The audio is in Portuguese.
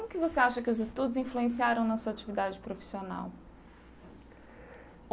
Como que você acha que os estudos influenciaram na sua atividade profissional?